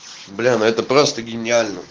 блин но это просто гениально